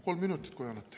Kolm minutit, kui annate.